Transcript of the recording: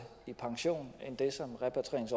i pension end det